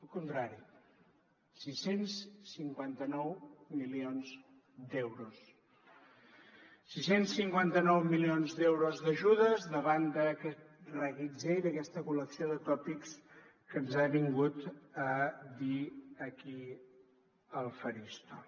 al contrari sis cents i cinquanta nou milions d’euros sis cents i cinquanta nou milions d’euros d’ajudes davant d’aquest reguitzell d’aquesta col·lecció de tòpics que ens ha vingut a dir aquí al faristol